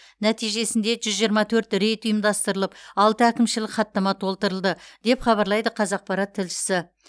нәтижесінде жүз жиырма төрт рейд ұйымдастырылып алты әкімшілік хаттама толтырылды деп хабарлайды қазақпарат тілшісі